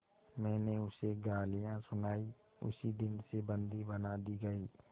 मैंने उसे गालियाँ सुनाई उसी दिन से बंदी बना दी गई